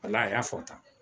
Walayi a y'a fɔ tan